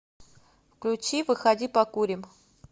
включи выходи покурим